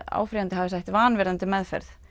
áfrýjandi hafi sætt vanvirðandi meðferð